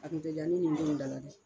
A tun tɛ ddiya ne ni ndenw dala dɛ